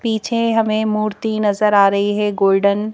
पीछे हमें मूर्ति नजर आ है गोल्डन --